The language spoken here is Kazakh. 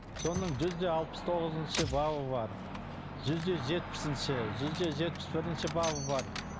соның жүз де алпыс тоғызыншы бабы бар жүз де жетпісінші жүз де жетпіс бірінші бабы бар